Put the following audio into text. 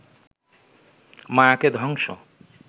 মায়াকে ধ্বংস